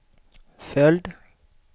följd